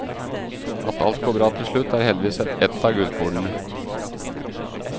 At alt går bra til slutt er heldigvis ett av gullkornene.